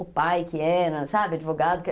o pai que era, sabe, advogado.